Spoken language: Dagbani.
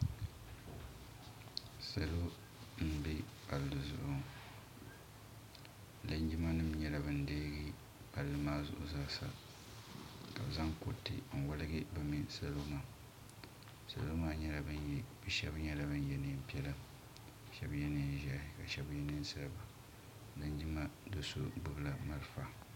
Salo n bɛ palli zuɣu ŋɔ linjima nim nyɛ bin deeyi palli maa zuɣu zaa sa ka bi zaŋ kuriti n waligi bi mini salo maa salo maa shɛba nyɛla bin yɛ niɛn piɛla ka shɛba yɛ niɛn ʒiɛhi ka shɛba yɛ niɛn sabila linjima doo so gbubi la malifa.